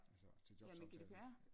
Altså til jobsamtale